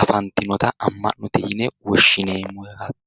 afantinota amma'note yine woshshineemmo yaate